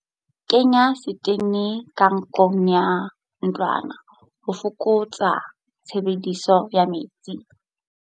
Kenya setene ka nkgong ya ntlwana ho fokotsa tshebediso ya metsi.